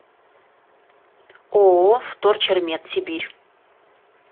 ооо вторчермет сибирь